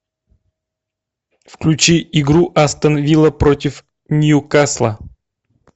включи игру астон вилла против ньюкасла